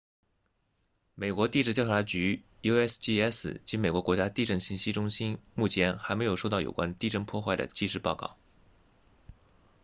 美国地质调查局 usgs 及美国国家地震信息中心目前还没有收到有关地震破坏的即时报告